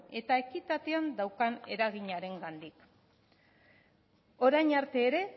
eta ekitatean daukan eraginarengandik orain arte ere